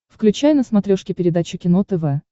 включай на смотрешке передачу кино тв